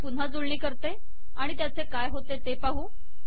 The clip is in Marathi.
मी पुन्हा जुळणी करते आणि त्याचे काय होते ते पाहू